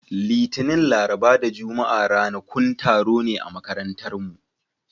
Litinin, Laraba da Juma'a ranakun taro ne a makarantarmu.